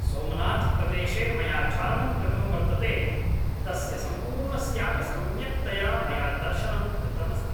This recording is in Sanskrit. सोमनाथ् प्रदेशे मया चारणं कृतं वर्तते तस्य सम्पूर्णस्यापि सम्यक्तया मया दर्शनं कृतमस्ति